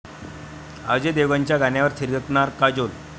अजय देवगणच्या गाण्यावर थिरकणार काजोल